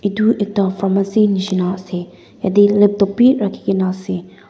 etu ekta pharmacy nishina ase yatey laptop pi rakhikena ase.